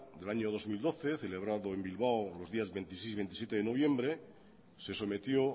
del año dos mil doce celebrado en bilbao los días veintiséis y veintisiete de noviembre se sometió